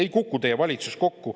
Ei kuku teie valitsus kokku.